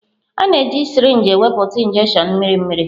A na-eji sirinji ewepụta injections mmiri mmiri.